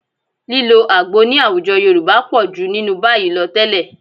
Lílo àgbo ní àwùjọ Yorùbá pọ̀ jù nínú báyìí lọ tẹ́lẹ̀